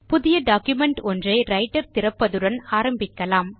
புதிய டாக்குமென்ட் ஒன்றை ரைட்டர் திறப்பதுடன் ஆரம்பிக்கலாம்